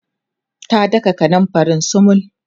ta daka kanumfarin sumul